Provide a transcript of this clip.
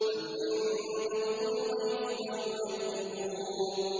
أَمْ عِندَهُمُ الْغَيْبُ فَهُمْ يَكْتُبُونَ